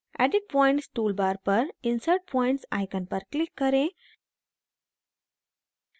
edit points tool bar पर insert points icon पर click करें